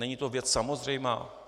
Není to věc samozřejmá?